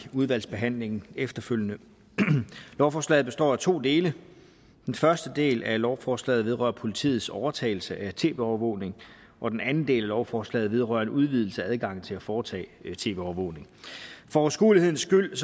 udvalgsbehandlingen efterfølgende lovforslaget består af to dele den første del af lovforslaget vedrører politiets overtagelse af tv overvågning og den anden del af lovforslaget vedrører en udvidelse af adgangen til at foretage tv overvågning for overskuelighedens skyld vil